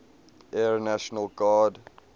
air national guard